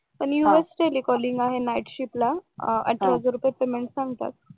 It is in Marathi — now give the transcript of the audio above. us telecalling आहे नाईटला शिफ्टला अठरा हजार पेमेंट सांगतात